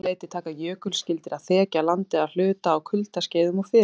Um sama leyti taka jökulskildir að þekja landið að hluta á kuldaskeiðum og fyrir